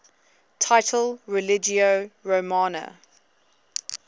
title religio romana